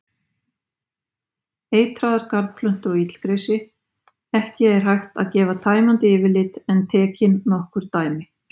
Eitraðar garðplöntur og illgresi Ekki er hægt að gefa tæmandi yfirlit en tekin nokkur dæmi.